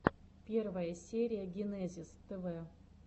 первая серия генезис тв